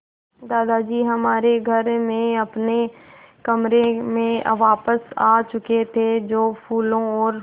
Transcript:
दादाजी हमारे घर में अपने कमरे में वापस आ चुके थे जो फूलों और